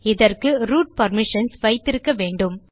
இதற்கு root permissions வைத்திருக்க வேண்டும்